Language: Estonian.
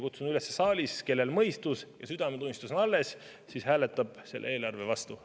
Kutsun üles neid saalis olijaid, kellel mõistus ja südametunnistus on alles, hääletama selle eelarve vastu.